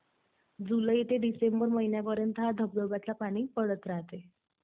जुलै ते डिसेंबर महिन्यापर्यंत या धबधब्यातलं पाणी पडत राहतंय.